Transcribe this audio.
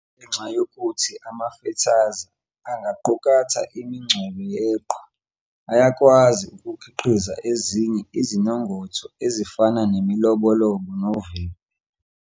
Ngenxa yokuthi amafethaza angaqukatha imincwebe yeqhwa, ayakwazi ukukhiqiza ezinye izimongotho ezifana nemilobolobo novivi.